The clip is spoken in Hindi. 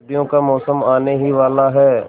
सर्दियों का मौसम आने ही वाला है